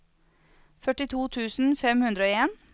førtito tusen fem hundre og en